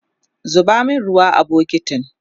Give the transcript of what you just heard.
zuba min ruwa a bukitin!